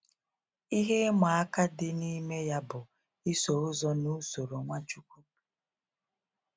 Ihe ịma aka dị n'ime ya bụ iso ụzọ na usoro Nwachukwu.